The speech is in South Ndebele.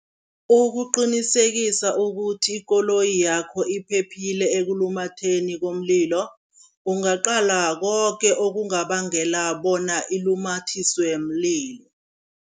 Ukuqinisekisa ukuthi ikoloyi yakho iphephile ekulumatheni komlilo, ungaqala koke okungabangela bona ilumathiswe mlilo.